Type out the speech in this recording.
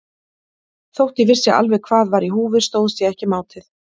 Þótt ég vissi alveg hvað var í húfi stóðst ég ekki mátið.